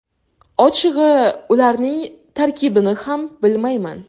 Ochig‘i, ularning tarkibini ham bilmayman.